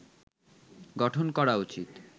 গঠন করা উচিত